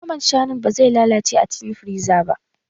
Naman shanun ba zai lalace ba a cikin firiza ba